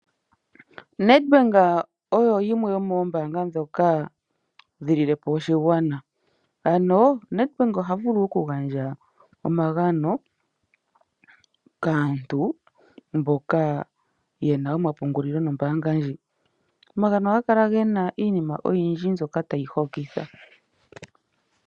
Nedbank oyo yimwe yomoombanga ndhoka dhililepo oshigwana ano Nedbank ohavulu oku gandja omagano kaantu mboka yena omapungulilo nombaanga ndjika Omagano ohaga kala gena iinima oyindji mbyoka tayi hokitha